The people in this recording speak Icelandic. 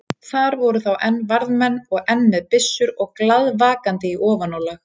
Þar voru þá enn varðmenn og enn með byssur og glaðvakandi í ofanálag.